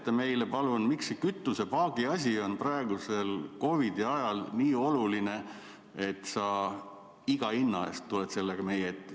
Seleta meile palun, miks see kütusepaagi asi on praegusel COVID-i ajal nii oluline, et sa iga hinna eest tuled sellega meie ette.